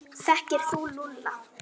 Þekkir þú Lúlla?